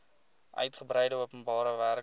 uigebreide openbare werke